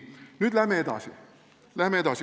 Nüüd läheme edasi.